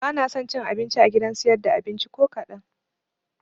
Banaso cin abinci a gidan siyar da abinci ko kaɗan